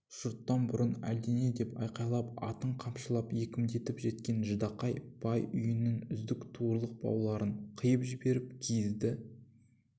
жұрттан бұрын әлдене деп айқайлап атын қамшылап екпіндетіп жеткен ждақай бай үйінің үзік туырлық бауларын қиып жіберіп киізді